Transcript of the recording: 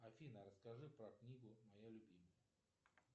афина расскажи про книгу моя любимая